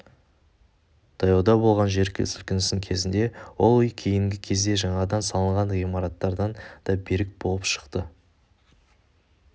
таяуда болған жер сілкінісі кезінде ол үй кейінгі кезде жаңадан салынған ғимараттардан да берік болып шықты